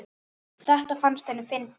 Þetta fannst henni fyndið.